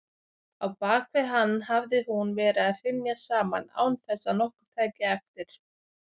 Á bakvið hann hafði hún verið að hrynja saman án þess að nokkur tæki eftir.